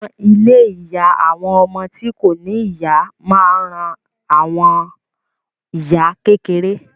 Àwọn ilé ìyá àwọn ọmọ tí kò ní ìyá máa ń ran àwọn ìyá kékeré